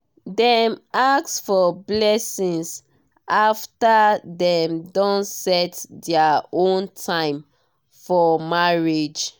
dem ask for blessings after dem don set their own time for marriage.